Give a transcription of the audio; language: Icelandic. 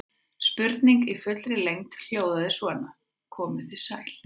Spurningin í fullri lengd hljóðaði svona: Komið þið sæl.